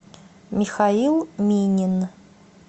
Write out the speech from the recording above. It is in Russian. михаил минин